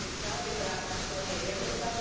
Svjesni ste i sami da to nije jednostavno.